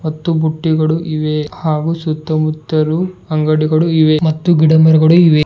ಮತ್ತು ಬುಟ್ಟಿಗಳು ಇವೆ ಹಾಗು ಸುತ್ತಮುತ್ತಲು ಮತ್ತು ಗಿಡಮರಗಳು ಅಂಗಡಿಗಳು ಇವೆ ಮತ್ತು ಗಿಡ ಮರಗಳು ಇವೆ.